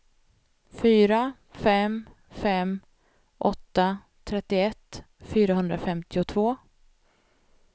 fyra fem fem åtta trettioett fyrahundrafemtiotvå